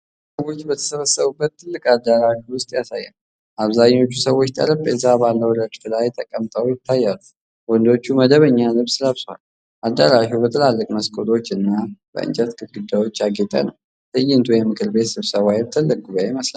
ብዙ ሰዎች በተሰበሰቡበት ትልቅ አዳራሽ ውስጥ ያሳያል። አብዛኞቹ ሰዎች ጠረጴዛ ባለው ረድፍ ላይ ተቀምጠው ይታያሉ። ወንዶቹ መደበኛ ልብስ ለብሰዋል። አዳራሹ በትላልቅ መስኮቶችና በእንጨት ግድግዳዎች ያጌጠ ነው። ትዕይንቱ የምክር ቤት ስብሰባ ወይም ትልቅ ጉባዔ ይመስላል።